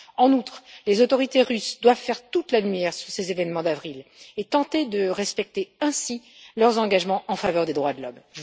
En outre, les autorités russes doivent faire toute la lumière sur ces événements d'avril et tenter de respecter ainsi leurs engagements en faveur des droits de l'homme.